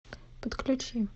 подключи